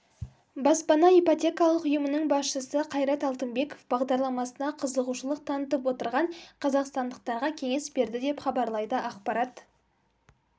баспана ипотекалық ұйымының басшысы қайрат алтынбеков бағдарламасына қызығушылық танытып отырған қазақстандықтарға кеңес берді деп хабарлайды ақпарат